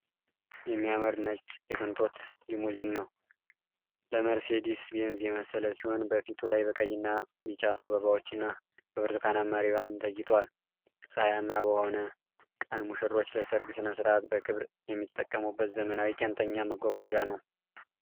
የሚያምር ነጭ የቅንጦት ሊሙዚን ነው። ለመርሴዲስ ቤንዝ የመሰለ ሲሆን፣ በፊቱ ላይ በቀይና ቢጫ አበባዎችና በብርቱካናማ ሪባን ተጌጧል። ፀሐያማ በሆነ ቀን፣ ሙሽሮች ለሠርግ ሥነ ሥርዓት በክብር የሚጠቀሙበት ዘመናዊና ቄንጠኛ መጓጓዣ ነው።